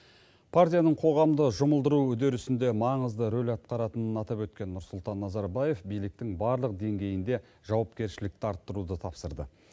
партияның қоғамды жұмылдыру үдерісінде маңызды рөл атқаратынын атап өткен нұрсұлтан назарбаев биліктің барлық деңгейінде жауапкершілікті арттыруды тапсырды